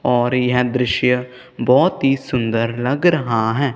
और यह दृश्य बहोत ही सुंदर लग रहा है।